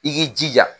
I k'i jija